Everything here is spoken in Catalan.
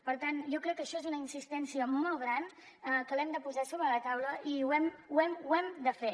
per tant jo crec que això és una insistència molt gran que l’hem de posar sobre la taula i ho hem de fer